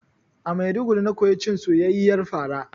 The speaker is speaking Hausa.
A Maiduguri na koyi cin soyayyiyar fara